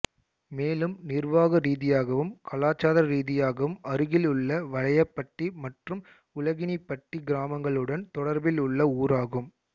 மேலும் நிர்வாக ரீதியாகவும் கலாச்சார ரீதியாகவும் அருகில் உள்ள வலையபட்டி மற்றும் உலகினிப்பட்டி கிராமங்களுடன் தொடர்பில் உள்ள ஊராகும்